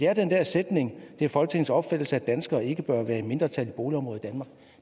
er den her sætning at det er folketingets opfattelse at danskere ikke bør være i mindretal i boligområder